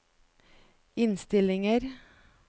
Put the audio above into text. innstillinger